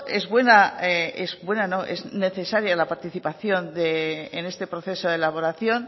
es necesaria la participación en este proceso de elaboración